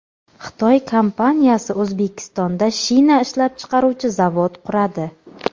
Xitoy kompaniyasi O‘zbekistonda shina ishlab chiqaruvchi zavod quradi.